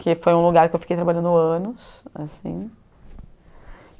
Que foi um lugar que eu fiquei trabalhando anos assim.